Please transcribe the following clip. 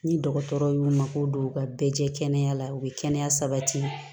Ni dɔgɔtɔrɔ y'u mako don u ka bɛɛ jɛya u bɛ kɛnɛya sabati